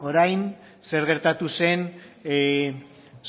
orain zer gertatu zen